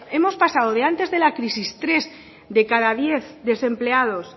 hemos pasado de antes de la crisis tres de cada diez desempleados